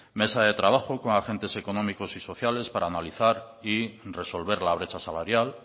mesa de trabajo con agentes económicos y sociales para analizar y resolver la brecha salarial